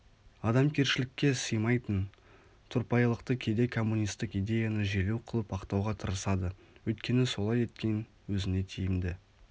адамгершілікке сыймайтын тұрпайылықты кейде коммунистік идеяны желеу қылып ақтауға тырысады өйткені солай еткен өзіне тиімді